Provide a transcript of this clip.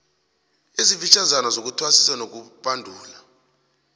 ezifitjhazana zokuthwasisa nokubandula